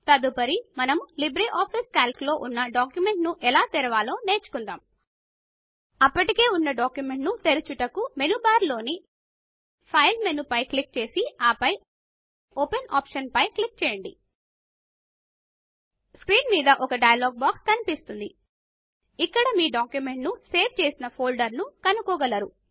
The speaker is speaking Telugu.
తదుపరి మనం లిబ్రిఆఫిస్ కాల్క్ లో ఉన్న డాక్యుమెంట్ ను ఎలా తెరవాలో నేర్చుకుందాం అప్పటికే ఉన్న ఒక డాక్యుమెంట్ ను ఓపెన్ చేయుటకు మెనూ బార్ లోని ఫైల్ మెనూ పైన క్లిక్ చేసి ఆపై ఓపెన్ ఆప్షన్ పైన క్లిక్ చేయంమాడి స్క్రీన్ మీద ఒక డయలాగ్ బాక్స్ కనిపిస్తుంది ఇక్కడ మీ డాక్యుమెంట్ ను సేవ్ చేసిన ఫోల్డర్ ను కనుకోగలరు